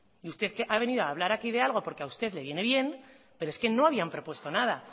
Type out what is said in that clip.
y usted ha venido a hablar aquí de algo porque a usted le viene bien pero es que no había propuesto nada